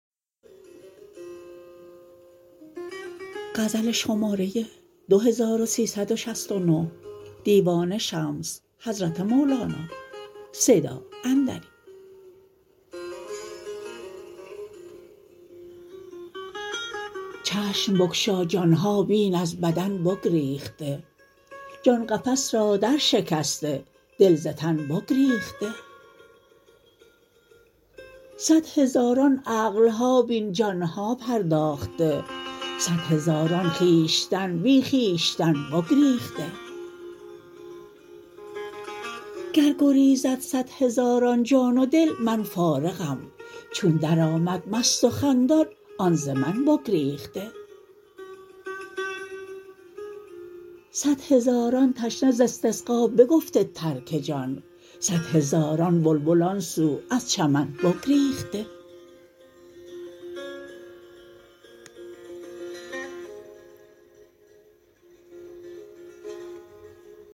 چشم بگشا جان ها بین از بدن بگریخته جان قفس را درشکسته دل ز تن بگریخته صد هزاران عقل ها بین جان ها پرداخته صد هزاران خویشتن بی خویشتن بگریخته گر گریزد صد هزاران جان و دل من فارغم چون درآمد مست و خندان آن ز من بگریخته صد هزاران تشنه ز استسقا بگفته ترک جان صد هزاران بلبل آن سو از چمن بگریخته